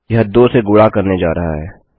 यह दो से गुणा करने जा रहा है